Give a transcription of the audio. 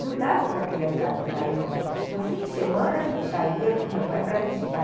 Não dava para a criançada sair com... No fim de semana, a gente saía com o meu pai para visitar...